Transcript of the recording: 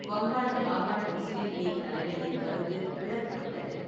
வங்காள மாகாண முஸ்லீம் லீக் தலைமையின் கருத்து பிளவுபட்டது.